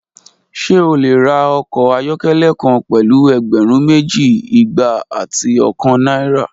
Ṣe o le ra ọkọ ayọkẹlẹ kan pẹlu ẹgbẹrun meji, igba ati ọkan naira?